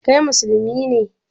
Kai musulmi ne?